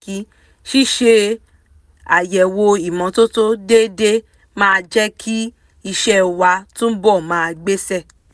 ṣíṣe àyẹ̀wò ìmọ́tótó déédé máa jẹ́ kí iṣẹ́ wa túbọ̀ máa gbéṣẹ́